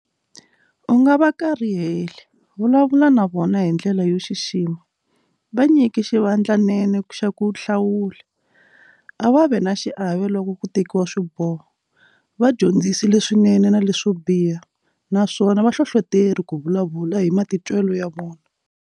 U nga va kariheli, vulavula na vona hi ndlela yo xixima, va nyiki xivandlanene xa ku nhlawula, a va ve na xiave loko ku tekiwa swiboho, va dyondzisi leswinene na leswo biha- naswona va hlohloteri ku vulavula hi matitwelo ya vona.